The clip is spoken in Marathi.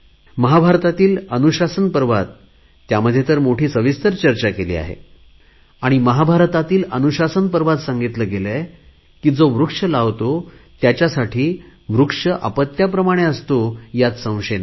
महाभारतातील अनुशासन पर्वात त्यामध्ये तर मोठी सविस्तर चर्चा केली आहे आणि महाभारतातील अनुशासन पर्वात सांगितले गेले आहे जो वृक्ष लावतो त्याच्यासाठी वृक्ष अपत्याप्रमाणे असतो ह्यात संशय नाही